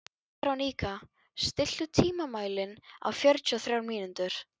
Veróníka, stilltu tímamælinn á fjörutíu og þrjár mínútur.